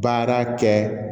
Baara kɛ